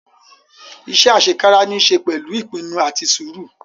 Ise asekara ni i se pẹlu ipinnu ati sũru